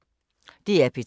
DR P3